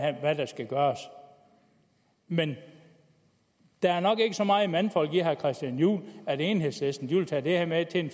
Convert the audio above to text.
der skal gøres men der er nok ikke så meget mandfolk i herre christian juhl at enhedslisten vil tage det her med til en